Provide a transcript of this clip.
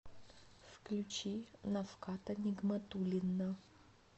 включи нафката нигматуллина